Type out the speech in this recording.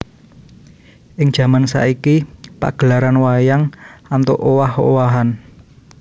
Ing jaman saiki pagelaran wayang antuk owah owahan